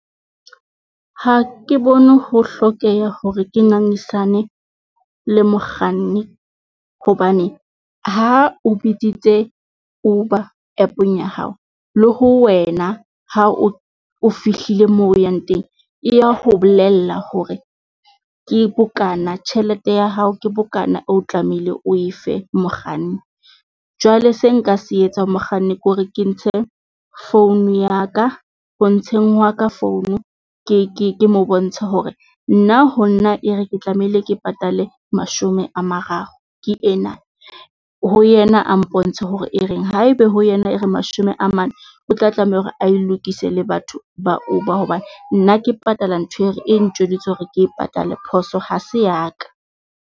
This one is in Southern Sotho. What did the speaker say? Ha ke bone ho hlokeha hore ke ngangisane le mokganni, hobane ha o biditse Uber App-ong ya hao le ho wena ha o, o fihlile moo o yang teng. E ya ho bolella hore ke bokana tjhelete ya hao ke bokana o tlamehile oe fe mokganni. Jwale se nka se etsa mokganni ke hore ke ntshe founu ya ka, ho ntseng hwa ka founu. Ke mo bontshe hore nna ho nna e re ke tlamehile ke patale mashome a mararo ke ena. Ho yena a mpontshe hore e reng haebe ho yena e re mashome a mane, o tla tlameha hore ae lokise le batho ba o ba hoba nna ke patala ntho e re e ntjweditse hore ke e patale phoso ha se ya ka.